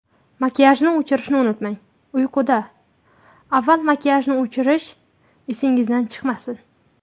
Makiyajni o‘chirishni unutmang Uyquda avval makiyajni o‘chirish esingizdan chiqmasin.